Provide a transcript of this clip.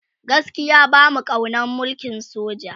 gaskia bamu kaunan mulkin soja